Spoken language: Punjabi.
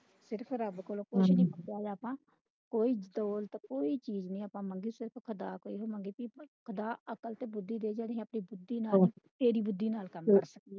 ਸਿਰਫ ਰੱਬ ਕੋਲੋਂ ਕੋਈ ਚੀਜ ਨਹੀਂ ਆਪਾਂ ਮੰਗੀ ਸਿਰਫ ਖੁਦਾ ਕੋਲੋਂ ਖੁਦਾ ਅਕਲ ਤੇ ਬੁੱਧੀ ਦੇ